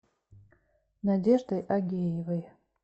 надеждой агеевой